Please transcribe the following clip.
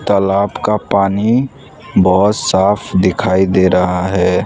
तालाब का पानी बहोत साफ दिखाई दे रहा है।